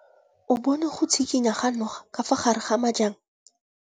O bone go tshikinya ga noga ka fa gare ga majang.